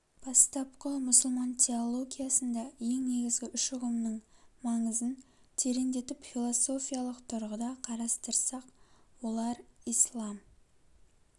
бастапқы мұсылман теологиясында ең негізгі үш үғымның маңызын тереңдетіп философиялык тұрғыда қарастырсак олар ислам